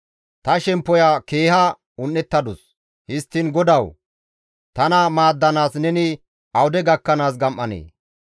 Ta shemppoya keeha un7ettadus; histtiin GODAWU! Tana maaddanaas neni awude gakkanaas gam7anee?